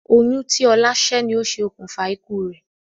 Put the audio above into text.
Oyún tí ọlá sẹ́ ni ó ṣe okùnfà ikú rẹ̀